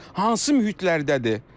Hansı mühitlərdədir?